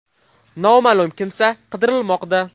Noma’lum kimsa qidirilmoqda.